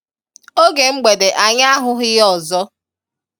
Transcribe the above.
oge mgbede anyị ahụghị ya ọzọ